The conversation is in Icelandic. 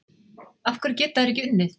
Af hverju geta þeir ekki unnið?